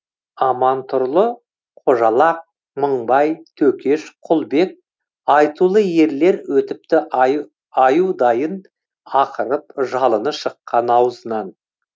амантұрлы қожалак мыңбай төкеш құлбек айтулы ерлер өтіпті аюдайын ақырып жалыны шыққан аузынан